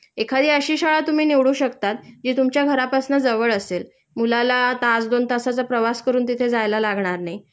एखादी अशी शाळा तुम्ही निवडू शकतात जी तुमच्या घरापासनं जवळ असेल. मुलाला तास दोन तासाचा प्रवास करून तिथे जायला लागणार नाही